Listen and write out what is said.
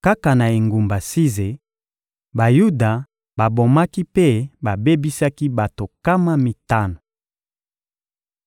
Kaka na engumba Size, Bayuda babomaki mpe babebisaki bato nkama mitano.